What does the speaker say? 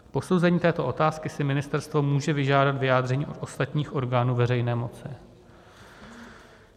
K posouzení této otázky si ministerstvo může vyžádat vyjádření od ostatních orgánů veřejné moci.